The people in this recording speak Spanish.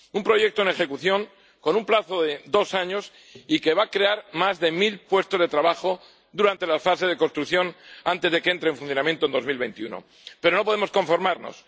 Un proyecto en ejecución, con un plazo de dos años y que va a crear más de mil puestos de trabajo durante la fase de construcción, antes de que entre en funcionamiento en el año 2021. Pero no podemos conformarnos.